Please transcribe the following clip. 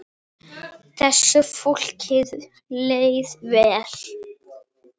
Þessu fólki leið vel.